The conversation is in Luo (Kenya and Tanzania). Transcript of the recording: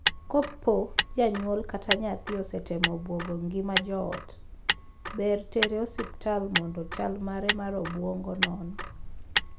Kopo janyuol kata nyathi osetemo buogo ngima joot, ber tere osiptal mondo chal mare mar obuongo non.